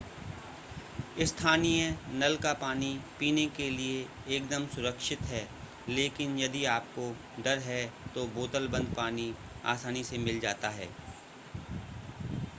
स्थानीय नल का पानी पीने के लिए एकदम सुरक्षित है लेकिन यदि आपको डर है तो बोतल बंद पानी आसानी से मिल जाता है